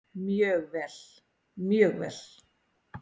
Mjög vel, mjög vel.